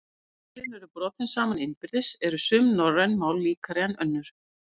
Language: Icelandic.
Ef málin eru borin saman innbyrðis eru sum norræn mál líkari en önnur.